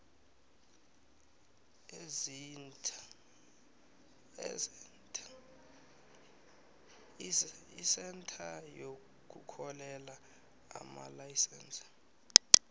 isentha yokuhlolela amalayisense